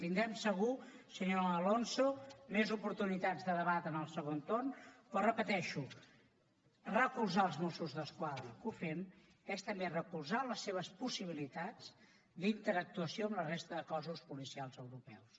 tindrem segur senyor alonso més oportunitats de debatre en el segon torn però ho repeteixo recolzar els mossos d’esquadra que ho fem és també recolzar les seves possibilitats d’interactuació amb la resta de cossos policials europeus